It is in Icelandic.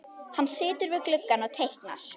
Hann situr við gluggann og teiknar.